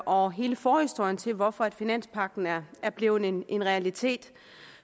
og hele forhistorien til hvorfor finanspagten er er blevet en en realitet